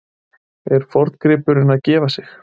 Er forngripurinn að gefa sig?